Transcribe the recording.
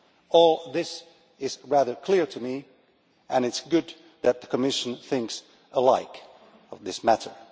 All this is rather clear to me and it is good that the Commission thinks alike on this matter.